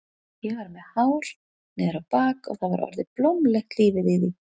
Ég var með hár niður á bak og það var orðið blómlegt lífið í því.